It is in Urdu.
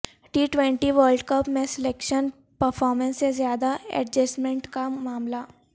ٹی ٹوئنٹی ورلڈ کپ میں سلیکشن پرفارمنس سے زیادہ ایڈجسٹمنٹ کا معاملہ